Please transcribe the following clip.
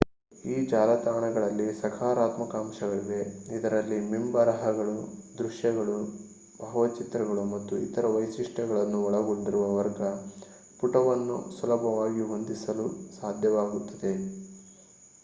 ಈ ಜಾಲತಾಣಗಳಿಗೆ ಸಕಾರಾತ್ಮಕ ಅಂಶಗಳಿವೆ ಇದರಲ್ಲಿ ಮಿಂಬರಹಗಳು ದೃಶ್ಯಗಳು ಭಾವಚಿತ್ರಗಳು ಮತ್ತು ಇತರ ವೈಶಿಷ್ಟ್ಯಗಳನ್ನು ಒಳಗೊಂಡಿರುವ ವರ್ಗ ಪುಟವನ್ನು ಸುಲಭವಾಗಿ ಹೊಂದಿಸಲು ಸಾಧ್ಯವಾಗುತ್ತದೆ